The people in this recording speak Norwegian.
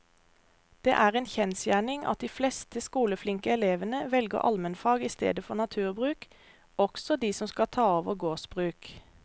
Det er en kjensgjerning at de fleste skoleflinke elevene velger allmennfag i stedet for naturbruk, også de som skal ta over gårdsbruk.